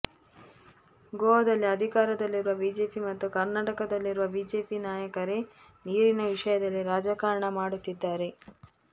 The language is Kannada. ಗೋವಾದಲ್ಲಿ ಅಧಿಕಾರದಲ್ಲಿರುವ ಬಿಜೆಪಿ ಮತ್ತು ಕರ್ನಾಟಕದಲ್ಲಿರುವ ಬಿಜೆಪಿ ನಾಯಕರೇ ನೀರಿನ ವಿಷಯದಲ್ಲಿ ರಾಜಕಾರಣ ಮಾಡುತ್ತಿದ್ದಾರೆ